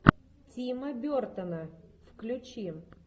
тима бертона включи